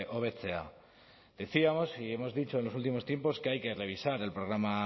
hobetzea decíamos y hemos dicho en los últimos tiempos que hay que revisar el programa